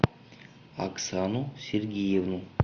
оксану сергеевну